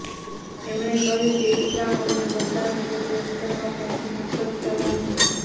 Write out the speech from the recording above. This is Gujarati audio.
એમણે કહ્યું કે ઈસ્લામ અમને બધા સાથે પ્રેમ કરવા કહે છે નફરત કરવા નહીં